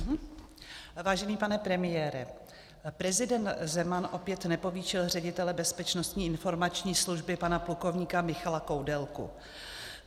Vážený pane premiére, prezident Zeman opět nepovýšil ředitele Bezpečnostní informační služby pana plukovníka Michala Koudelku.